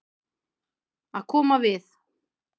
Að koma við